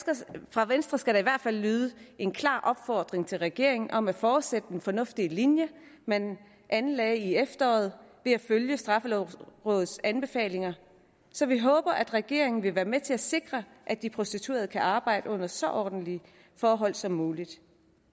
fra venstre skal der i hvert fald lyde en klar opfordring til regeringen om at fortsætte den fornuftige linje man anlagde i efteråret ved at følge straffelovrådets anbefalinger så vi håber at regeringen vil være med til at sikre at de prostituerede kan arbejde under så ordentlige forhold som muligt